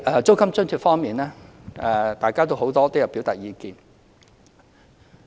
租金津貼方面，多位議員均有表達意見。